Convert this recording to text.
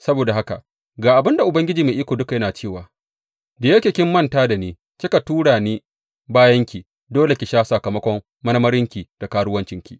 Saboda haka ga abin da Ubangiji Mai Iko Duka yana cewa da yake kin manta da ni kika tura ni bayanki, dole ki sha sakamakon marmarinki da karuwancinki.